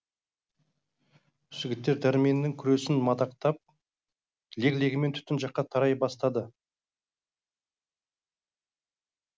жігіттер дәрменнің күресін мадақтап лек легімен түтін жаққа тарай бастады